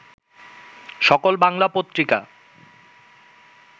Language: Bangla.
সকল বাংলা পত্রিকা